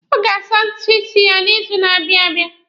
Ọ ga-asa ntutu isi ya n'izu na-abịa abịa.